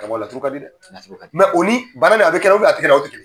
mɔ la a fɔ kadi dɛ. A fɔ kadi. o ni bana nin, a bɛ kɛ na a tɛ kɛ na, o te kelen ye.